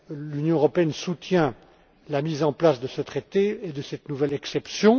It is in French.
L'Union européenne soutient la mise en place de ce traité et de cette nouvelle exception